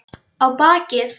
Á bakið.